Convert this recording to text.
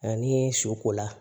Ni su ko la